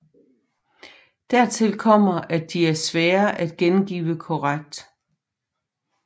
Dertil kommer at de er svære at gengive korrekt